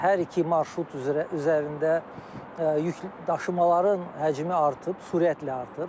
Hər iki marşrut üzərində yükləşımaların həcmi artıb, sürətlə artır.